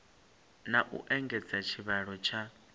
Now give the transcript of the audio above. na u engedza tshivhalo tsha